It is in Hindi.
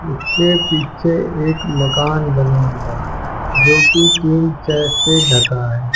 इसके पीछे एक मकान लगा हुआ है जोकि टीन शैड से ढका है।